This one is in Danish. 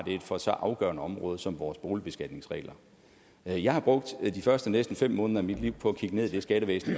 for et så afgørende område som vores boligbeskatningsregler jeg har brugt de første næsten fem måneder af mit liv på at kigge ned i det skattevæsen